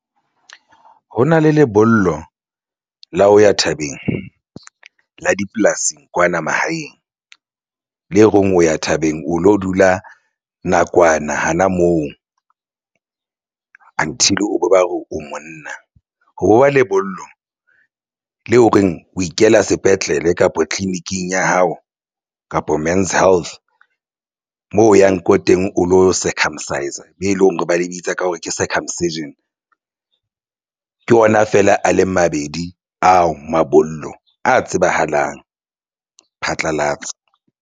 Ho na le lebollo la ho ya thabeng la dipolasing kwana mahaeng le reng o ya thabeng o lo dula nakwana hana moo until o bo ba re o monna ho bo ba lebollo le ho reng o ikela sepetlele kapa tleliniking ya hao kapa men's health moo o yang ko teng o lo circumcise-a be leng hore ba le bitsa ka hore ke circumcision ke ona feela a le mabedi ao mabollo a tsebahalang phatlalatsa.